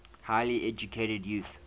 highly educated youth